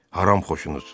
Haram xoşunuz!